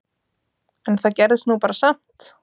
En það gerðist nú bara samt!